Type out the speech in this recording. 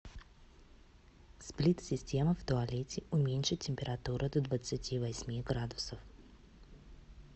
сплит система в туалете уменьшить температуру до двадцати восьми градусов